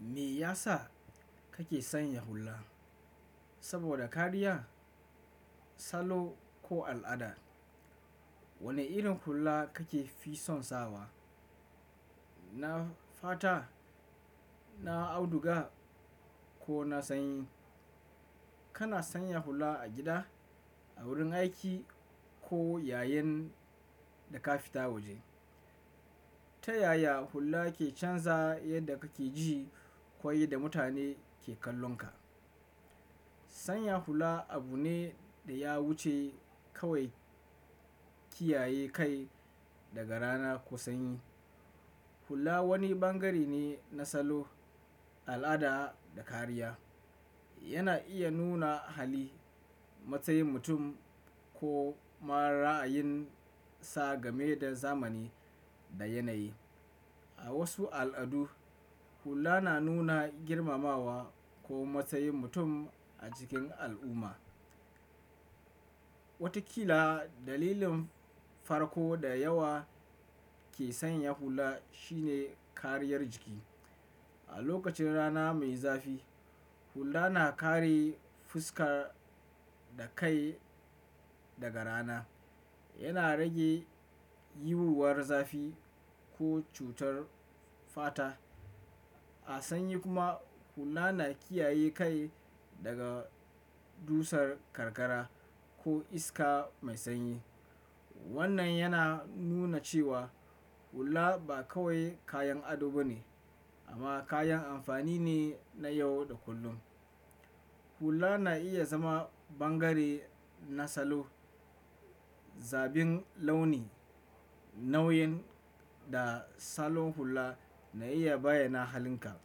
Me yasa kake sanya hulla? Saboda kariya, salo ko al'ada? Wane irin hulla kake fi son sawa? Na fata, na auduga ko na sanyi? Kana sanya hulla a gida, a wurin aiki ko yayin da ka fita waje. Ta yaya hulla ke canza yadda kake ji ko yanda mutane ke kallonka? Sanya hulla abu ne da ya wuce kawai kiyaye kai daga rana ko sanyi. Hulla wani bangare ne na salo, al'ada da kariya. Yana iya nuna hali, matsayin mutum ko ma ra'ayin sa game da zamani da yanayi. A wasu al'adu, hulla na nuna girmamawa ko matsayin mutum a cikin al'umma. Watakila dalilin farko da yawa ke sanya hulla shine kariyar jiki. A lokacin rana mai zafi, hulla na kare fuska da kai daga rana. Yana rage yiwuwar zafi ko cutar fata. A sanyi kuma, hulla na kiyaye kai daga dusar karkara ko iska mai sanyi. Wannan yana nuna cewa hulla ba kawai kayan ado ba ne, amma kayan amfani ne na yau da kullum. Hulla na iya zama bangare na salo. Zabin launi, nau'in da salon hulla na iya bayyana halinka.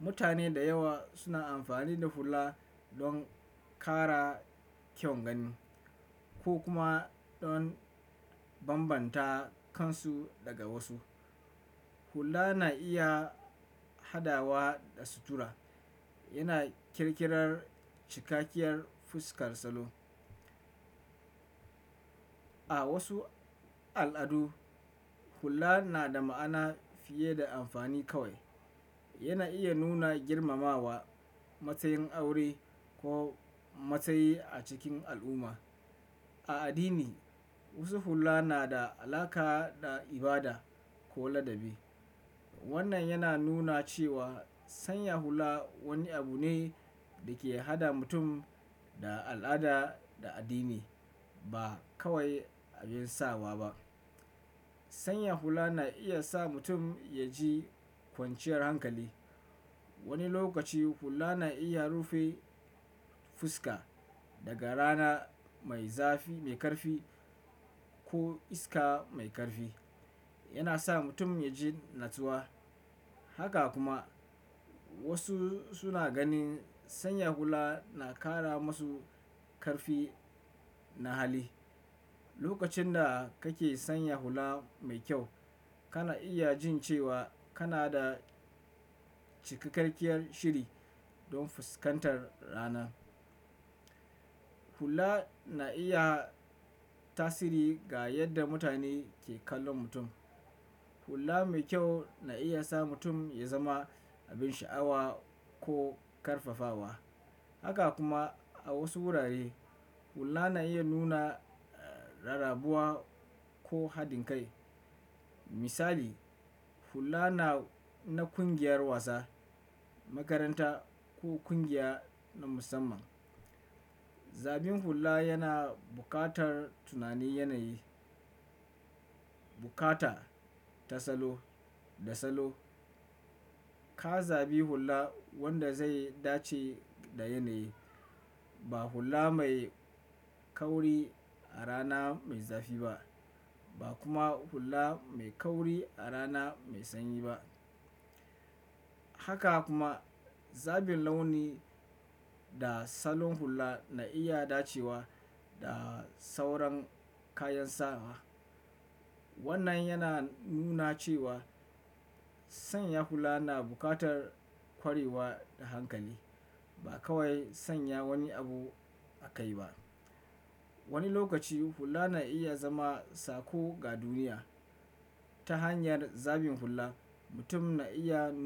Mutane da yawa suna amfani da hulla don kara kyau gani ko kuma don bambanta kansu daga wasu. Hulla na iya hadawa da sutura. Yana ƙirƙirar cikakkiyar fuskar salo. A wasu al'adu, hulla na da ma'ana fiye da amfani kawai. Yana iya nuna girmamawa, matsayin aure ko matsayi a cikin al'umma. A addini, wasu hulla na da alaƙa da ibada ko ladabi. Wannan yana nuna cewa sanya hulla wani abu ne da ke haɗa mutum da al'ada da addini ba kawai abin sawa ba. Sanya hulla na iya sa mutum ya ji kwanciyar hankali. Wani lokaci hulla na iya rufe fuska daga rana mai zafi, mai karfi ko iska mai karfi. Yana sa mutum ya ji natsuwa. Haka kuma wasu suna ganin sanya hulla na ƙara masu ƙarfi na hali. Lokacin da kake sanya hulla mai kyau, kana iya jin cewa kana da cikakkiyar shiri don fuskantar rana. Hulla na iya tasiri ga yadda mutane ke kallon mutum. Hulla mai kyau na iya sa mutum ya zama abin sha'awa ko karfafawa. Haka kuma a wasu wurare, hulla na iya nuna rarrabuwa ko haɗin kai. Misali, hulla na, na ƙungiyar wasa, makaranta ko ƙungiya na musamman. Zabin hulla yana buƙatar tunanin yanayi, bukata ta salo da salo. Ka zabi hulla wanda zai dace da yanayi. Ba hulla mai kauri a rana mai zafi ba, ba kuma hulla mai kauri a rana mai sanyi ba. Haka kuma zabin launi da salon hulla na iya dacewa da sauran kayan sawa. Wannan yana nuna cewa sanya hulla na buƙatar ƙwarewa da hankali ba kawai sanya wani abu a kai ba. Wani lokaci hulla na iya zama sako ga duniya. Ta hanyar zabin hulla, mutum na iya nuna.